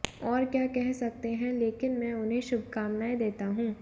और क्या कह सकते हैं लेकिन मैं उन्हें शुभकामनाएं देता हूं